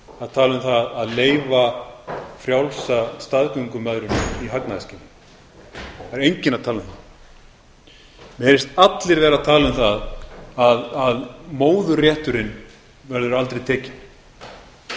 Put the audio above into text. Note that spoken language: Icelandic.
að tala um að leyfa frjálsa staðgöngumæðrun í hagnaðarskyni það er enginn að tala um það mér heyrist allir vera að tala um það að móðurrétturinn